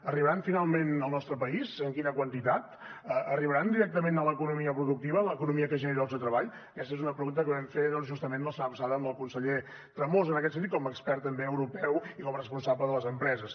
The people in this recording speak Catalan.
arribaran finalment al nostre país en quina quantitat arribaran directament a l’economia productiva l’economia que genera llocs de treball aquesta és una pregunta que vam fer justament la setmana passada al conseller tremosa en aquest sentit com a expert també europeu i com a responsable de les empreses